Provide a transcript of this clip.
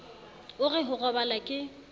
o re ho robala ke